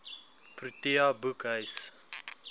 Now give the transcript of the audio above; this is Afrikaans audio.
protea boekhuis